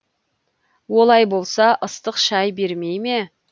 олай болса ыстық шай бермей ме